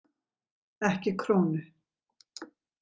Ekki krónu.